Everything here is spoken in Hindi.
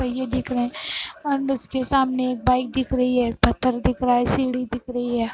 पहिये दिख रहे हैं और उसके सामने एक बाइक दिख रही है पत्थर दिख रहा है सीढ़ी दिख रही है।